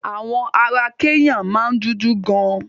Àwọn ará Kẹ́nyà máa ń dúdú gan.